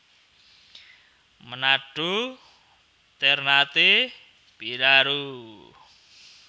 Menado Ternate Biraro